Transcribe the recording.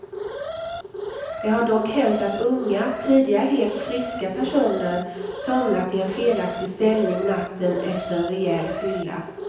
Det har dock hänt att unga, tidigare helt friska personer, somnat i en felaktig ställning natten efter en rejäl fylla.